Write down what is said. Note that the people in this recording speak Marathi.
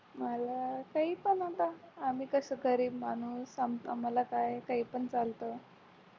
मला काहीपण आता आम्ही कसं गरीब माणूस आमच आम्हाला काय काही पण चालतं